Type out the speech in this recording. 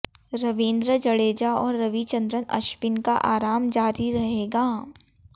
रवींद्र जडेजा और रविचंद्रन अश्विन का आराम जारी रहेगा